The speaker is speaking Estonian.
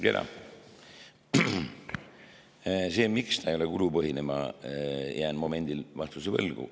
Selle kohta, miks ta ei ole kulupõhine, ma jään momendil vastuse võlgu.